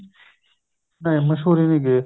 ਨਹੀਂ ਮੰਸੂਰੀ ਨੀ ਗਏ